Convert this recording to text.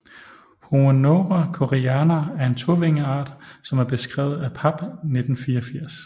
Homoneura koreana er en tovingeart som er beskrevet af Papp 1984